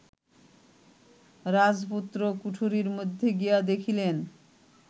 রাজপুত্র কুঠরির মধ্যে গিয়া দেখিলেন